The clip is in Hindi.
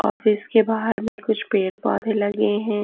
ऑफिस के बाहर में कुछ पेड़ पौधे लगे हैं।